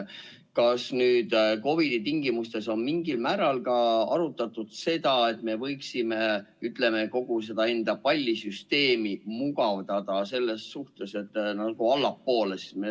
Kas nüüd COVID-i tingimustes on mingil määral arutatud ka seda, et me võiksime kogu seda pallisüsteemi mugavdada selles suunas, et seda allapoole viia?